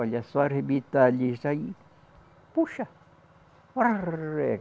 Olha, só arrebitar ali aí, puxa. rarrr